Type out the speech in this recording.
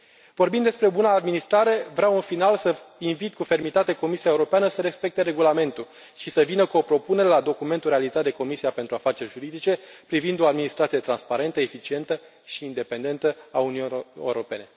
Vorbim despre buna administrare. Vreau, în final, să invit cu fermitate Comisia Europeană să respecte Regulamentul și să vină cu o propunere la documentul realizat de Comisia pentru afaceri juridice privind o administrație transparentă, eficientă și independentă a Uniunii Europene.